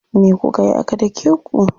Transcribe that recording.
Me kukayi aka dake ku?